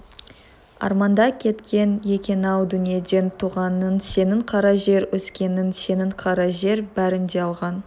арманда кеткен екен-ау дүниеден туғаның сенің қара жер өскенің сенің қара жер бәрін де алған